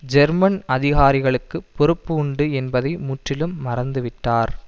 German அதிகாரிகளுக்குப் பொறுப்பு உண்டு என்பதை முற்றிலும் மறந்துவிட்டார்